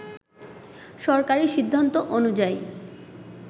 সরকারি সিদ্ধান্ত অনুযায়ী